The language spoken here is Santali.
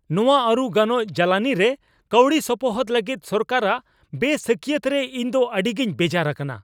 ᱱᱟᱣᱟᱼᱟᱹᱨᱩ ᱜᱟᱱᱚᱜ ᱡᱟᱞᱟᱱᱤᱨᱮ ᱠᱟᱹᱣᱰᱤ ᱥᱚᱯᱚᱦᱚᱫ ᱞᱟᱹᱜᱤᱫ ᱥᱚᱨᱠᱟᱨᱟᱜ ᱵᱮᱼᱥᱟᱹᱠᱤᱭᱟᱹᱛ ᱨᱮ ᱤᱧᱫᱚ ᱟᱹᱰᱤᱜᱮᱧ ᱵᱮᱡᱟᱨ ᱟᱠᱟᱱᱟ ᱾